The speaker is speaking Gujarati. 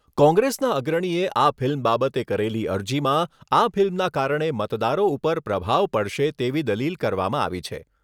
કોંગ્રેસના અગ્રણીએ આ ફિલ્મ બાબતે કરેલી અરજીમાં આ ફિલ્મના કારણે મતદારો ઉપર પ્રભાવ પડશે તેવી દલીલ કરવામાં આવી છે.